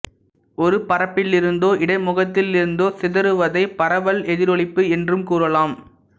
ஓர் பரப்பிலிருந்தோ இடைமுகத்திலிருந்தோ சிதறுவதை பரவல் எதிரொளிப்பு என்றும் கூறலாம்